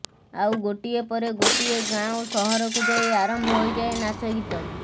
ଆଉ ଗୋଟିଏ ପରେ ଗୋଟିଏ ଗାଁ ଓ ସହରକୁ ଯାଇ ଆରମ୍ଭ ହୋଇଯାଏ ନାଚ ଗୀତ